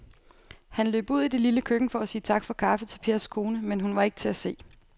Han løb ud i det lille køkken for at sige tak for kaffe til Pers kone, men hun var ikke til at se.